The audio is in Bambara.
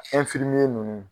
nunnu